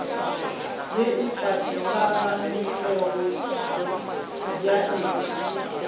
ye e patagantšwego ya e